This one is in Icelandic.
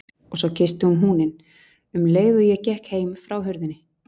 Og svo kyssti ég húninn, um leið og ég gekk heim frá hurðinni.